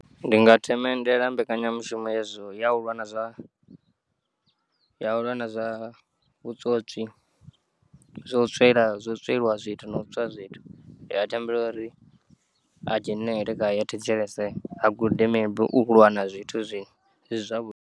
Ndinga themendela mbekanyamushumo yazwo ya uvha na zwa, ya uvha na zwa vhutswotswi zwo tswela zwo tsweliwa zwithu no utswa zwithu ya tambela uri a dzhenele khayo a thetshelese a gude maybe ulwa na zwithu zwiṅwe ndizwa.